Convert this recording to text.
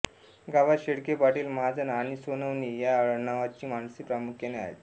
गावात शेळके पाटील महाजन आणि सोनावणे या आडनावाची माणसे प्रामुख्याने आहेत